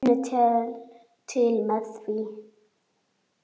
Hún finnur til með þeim.